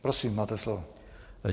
Prosím, máte slovo.